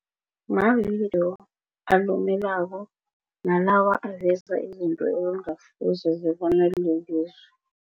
Mavidiyo alumelako nalawa aveza izinto ekungasizo kobona